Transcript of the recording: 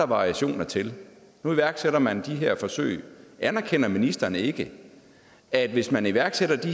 variationer til nu iværksætter man de her forsøg men anerkender ministeren ikke at hvis man iværksætter